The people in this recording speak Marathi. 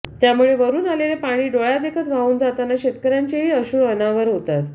त्यामुळे वरून आलेले पाणी डोळ्यादेखत वाहून जाताना शेतकर्यांचेही अश्रू अनावर होतात